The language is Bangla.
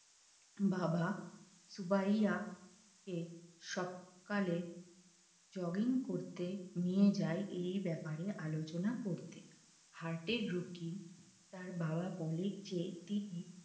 বাবা ভাইয়া কে সকালে jogging করতে নিয়ে যায় এই ব্যাপারে আলোচনা করতে হার্টের রোগী তার বাবা বলেন যে যে তিনি